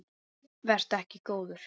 Vertu ekki góður.